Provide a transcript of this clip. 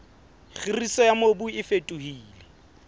kgiriso ya mobu e fetohile